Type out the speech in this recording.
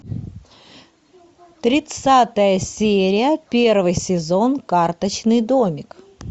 тридцатая серия первый сезон карточный домик